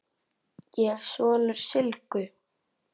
Ég er sonur Sylgju